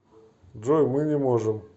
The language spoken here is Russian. джой мы не можем